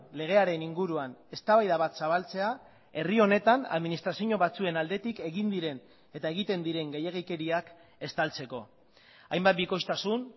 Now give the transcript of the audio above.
legearen inguruan eztabaida bat zabaltzea herri honetan administrazio batzuen aldetik egin diren eta egiten diren gehiegikeriak estaltzeko hainbat bikoiztasun